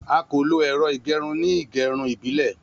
A ko lo ẹ̀rọ ìgẹrun ni ige irun Ibile.